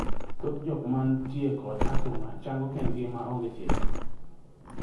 Thoth jok manitie kod athung'a chango kendgi ma onge thieth.